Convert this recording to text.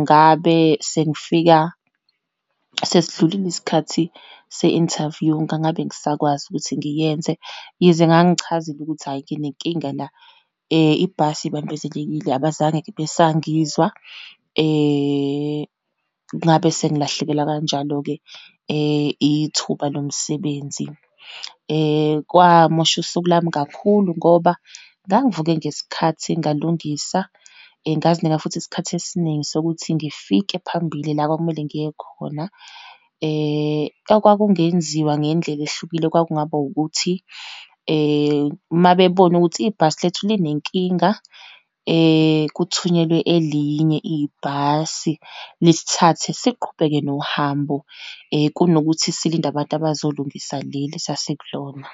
ngabe sengifika sesidlulile isikhathi se-interview, ngangabe ngisakwazi ukuthi ngiyenze. Yize ngangichazile ukuthi hhayi, nginenkinga la, ibhasi ibambezelekile, abazange-ke besangizwa, ngabe sengilahlekelwa kanjalo-ke ithuba lomsebenzi. Kwamosha usuku lami kakhulu ngoba ngangivuke ngesikhathi, ngalungisa, ngazinika futhi isikhathi esiningi sokuthi ngifike phambili la okwakumele ngiye khona. Okwakungenziwa ngendlela ehlukile, kwakungaba ukuthi uma bebona ukuthi ibhasi lethu linenkinga, kuthunyelwe elinye ibhasi lisithathe, siqhubeke nohambo kunokuthi silinde abantu abazolungisa leli esasikulona.